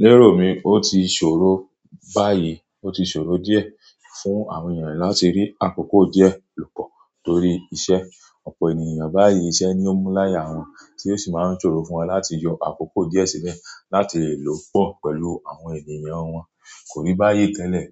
Lérò mi, ó ti ṣòro báyìí, ó ti ṣòro díẹ̀ fún àwọn ènìyàn láti rí àkókò díẹ̀ lò pọ̀ torí iṣẹ́. Ọ̀pọ̀ ènìyàn báyìí iṣẹ́ ni ó múmu láyà wọn, tí ó sì máa ń ṣòro fún wọn láti yọ àkókò díẹ̀ sílẹ̀ láti lè lò pọ̀ pẹ̀lú àwọn ènìyàn wọn. Kò rí báyìí tẹ́lẹ̀,